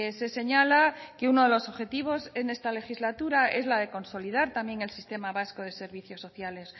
se señala que uno de los objetivos en esta legislatura es la de consolidar también el sistema vasco de servicios sociales